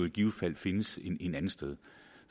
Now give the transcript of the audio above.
i givet fald findes et andet sted